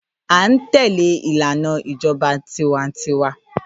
À ń tẹ́léè ìlànà ìjọba tiwańtiwa